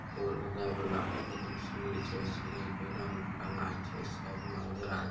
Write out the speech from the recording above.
पुल उधर वाला हउ सीढ़ी छै सीढ़ी के रंग काला छे साइड में उजरा --